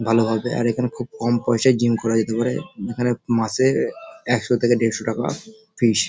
ভালো হবে আর এখানে খুব কম পয়সায় জিম করা যেতে পারে। মাসে একশো থেকে দেড়শো টাকা ফীস ।